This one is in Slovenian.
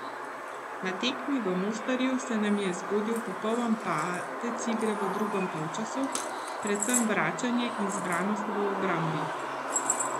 Na tekmi v Mostarju se nam je zgodil popoln padec igre v drugem polčasu, predvsem vračanje in zbranost v obrambi.